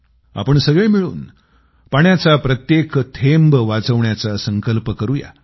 आपण सगळे मिळून पाण्याचा प्रत्येक थेंब वाचवण्याचा संकल्प करूया